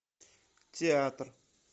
театр